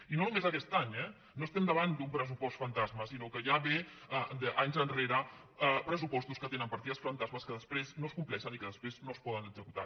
i no només aquest any eh no estem davant d’un pressupost fan·tasma sinó que ja ve d’anys enrere pressupostos que tenen partides fantasma que després no es compleixen i que després no es poden executar